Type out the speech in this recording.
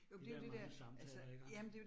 De der mange samtaler iggå